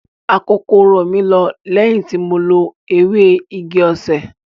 Akokoro mi lọ lẹ́yìn tí mo lo ewé igi osè.